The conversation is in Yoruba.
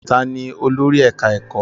Ta ni olórí ẹ̀ká ẹ̀kọ́?